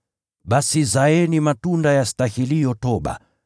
Basi zaeni matunda yastahiliyo toba.